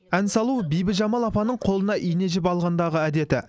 ән салу бибіжамал апаның қолына ине жіп алғандағы әдеті